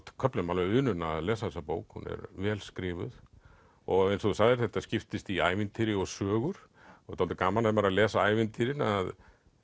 köflum alveg unun að lesa þessa bók hún er vel skrifuð og eins og þú sagðir þetta skiptist í ævintýri og sögur og er dálítið gaman ef maður er að lesa ævintýrin að